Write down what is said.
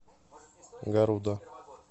гаруда